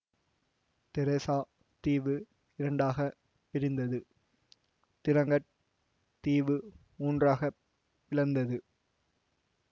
Teresa தீவு இரண்டாக பிரிந்தது திரிங்கட் தீவு மூன்றாகப் பிளந்தது